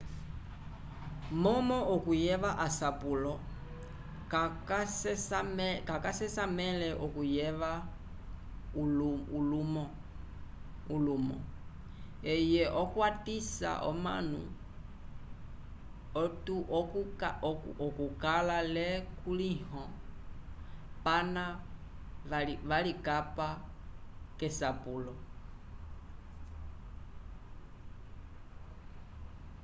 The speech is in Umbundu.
momo okuyeva asapulo ka ca sesamele okuyeva ulimo eye okwatisa omanu okukala le kulihilo pana valikapa kesapulo